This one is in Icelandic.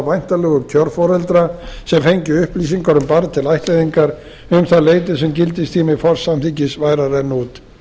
væntanlegu kjörforeldra sem fengju upplýsingar um barn til ættleiðingar um það leyti sem gildistími forsamþykkis væri að renna út